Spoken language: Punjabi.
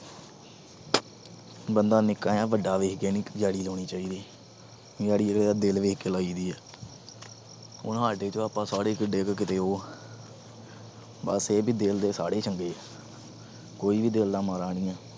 ਬੰਦਾ ਨਿੱਕਾ ਜਾਂ ਵੱਡਾ ਦੇਖ ਕੇ ਨਹੀਂ ਯਾਰੀ ਲਾਉਣੀ ਚਾਹੀਦੀ। ਯਾਰੀ ਕਿਸੇ ਦਾ ਦਿਲ ਦੇਖ ਕੇ ਲਾਈ ਦੀ ਆ। ਓ ਹੱਸਦੇ ਤਾਂ ਆਪਾ ਸਾਰੇ ਕਦੇ ਇਹ ਕਦੇ ਉਹ ਪਰ ਇਹ ਹੈ ਵੀ ਦਿਲ ਦੇ ਤਾਂ ਸਾਰੇ ਈ ਚੰਗੇ ਆ। ਕੋਈ ਦਿਲ ਦਾ ਮਾੜਾ ਨਹੀਂ ਆ।